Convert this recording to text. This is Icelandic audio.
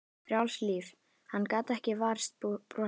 Hann gat ekki varist brosi.